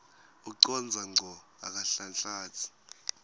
ucondza ngco akanhlanhlatsi